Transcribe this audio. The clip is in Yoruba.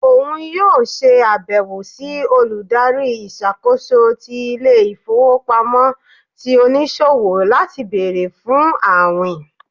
òun yóò ṣe àbẹwò sí Olùdarí ìṣàkóso ti ìlé-ifowopámọsí tí oniṣowo lati béèrè fún awín.